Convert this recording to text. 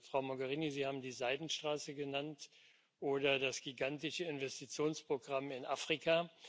Frau Mogherini, Sie haben die Seidenstraße genannt oder das gigantische Investitionsprogramm in Afrika.